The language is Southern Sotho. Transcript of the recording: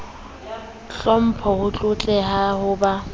hlompho ho tlotleha ho ba